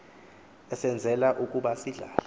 esenzela ukuba sidlale